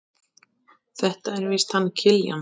Þetta er víst hann Kiljan.